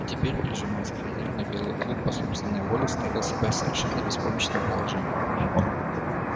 а теперь прижимаясь к хозяину белый клык по собственной воле ставил себя в совершенно беспомощное положение